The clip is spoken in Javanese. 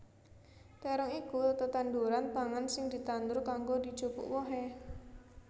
Térong iku tetanduran pangan sing ditandur kanggo dijupuk wohé